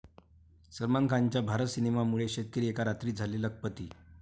सलमान खानच्या भारत सिनेमामुळे शेतकरी एका रात्रीत झाले लखपती